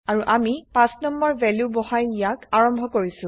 আৰু আমি ৫নং ভেলু বহাই ইয়াক আৰম্ভ কৰিছো